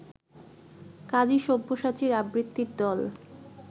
কাজী সব্যসাচীর আবৃত্তির দল